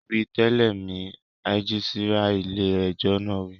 Wí tẹ̀lé mi, rẹ́gísírà ilé ẹjọ́ náà wí